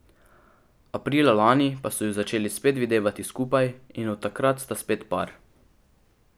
Aprila lani pa so ju začeli spet videvati skupaj, in od takrat sta spet par.